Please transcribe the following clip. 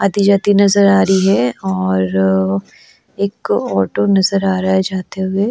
आती जाती नजर आ रही है और एक ऑटो नजर आ रहा है जाते हुए।